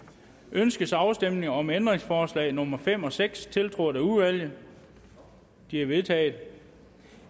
ønskes afstemning om ændringsforslag nummer fem og seks tiltrådt af udvalget de er vedtaget